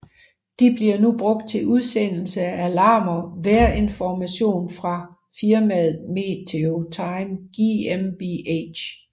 De bliver nu brugt til udsendelse af alarmer vejrinformation fra firmaet Meteo Time GmbH